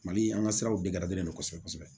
Mali an ka siraw dege kosɛbɛ kosɛbɛ